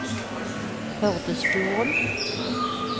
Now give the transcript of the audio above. Førdesfjorden